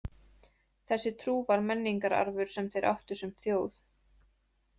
Þessi trú var menningararfur sem þeir áttu sem þjóð.